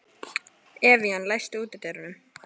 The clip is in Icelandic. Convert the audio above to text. Evían, læstu útidyrunum.